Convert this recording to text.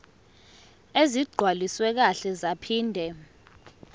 ezigcwaliswe kahle zaphinde